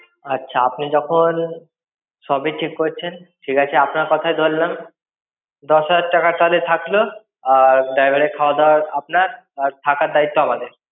আচ্ছা আপনি যখন~ সবই ঠিক করছেন, ঠিক আছে আপনার কথাই ধরলাম। দশ হাজার টাকা তাহলে থাকলো, আর driver এর খাওয়া-দাওয়া আপনার আর থাকার দায়িত্ব আমাদের।